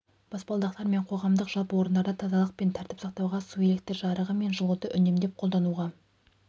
баспалдақтар мен қоғамдық жалпы орындарда тазалық пен тәртіп сақтауға су электр жарығы мен жылуды үнемдеп қолдануға